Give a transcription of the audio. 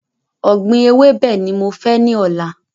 Ògbìn ewébẹ̀ ni mo fẹ́ ní ọ̀la